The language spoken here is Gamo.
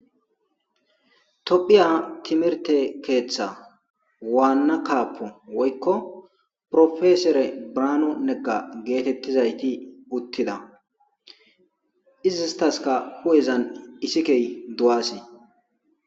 Tophiya timihirte keththa waanaa kaapo woykko piroposore Birhanu Nega gettetizaytti uuttida iizetasikka huu'ezan ixxikey duwase